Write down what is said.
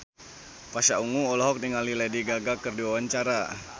Pasha Ungu olohok ningali Lady Gaga keur diwawancara